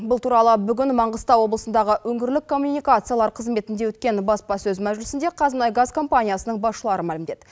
бұл туралы бүгін маңғыстау облысындағы өңірлік коммуникациялар қызметінде өткен баспасөз мәжілісінде қазмұнайгаз компаниясының басшылары мәлімдеді